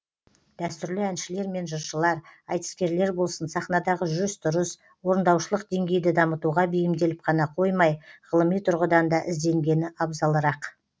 дәстүрлі әншілер мен жыршылар айтыскерлер болсын сахнадағы жүріс тұрыс орындаушылық деңгейді дамытуға бейімделіп қана қоймай ғылыми тұрғыдан да ізденгені абзалырақ